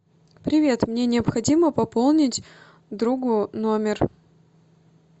привет мне необходимо пополнить другу номер